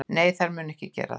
Nei, þær munu ekki gera það.